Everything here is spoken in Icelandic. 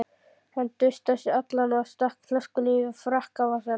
Hann dustaði sig allan og stakk flöskunni í frakkavasann.